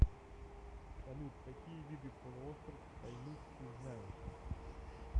салют какие виды полуостров таймыр ты знаешь